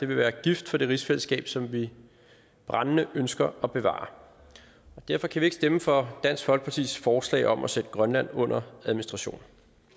være gift for det rigsfællesskab som vi brændende ønsker at bevare og derfor kan vi ikke stemme for dansk folkepartis forslag om at sætte grønland under administration